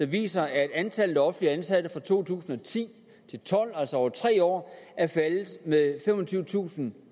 viser at antallet af offentligt ansatte fra to tusind og ti til tolv altså over tre år er faldet med femogtyvetusinde